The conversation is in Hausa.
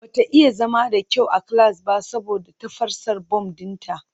Bata iya zama da kyau a class ba saboda tafasar bom dinta